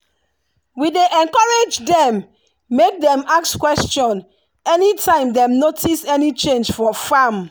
we dey encourage dem make dem ask question anytime dem notice any change for farm.